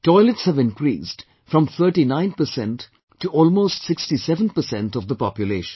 Toilets have increased from 39% to almost 67% of the population